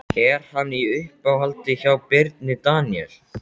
Er hann í uppáhaldi hjá Birni Daníel?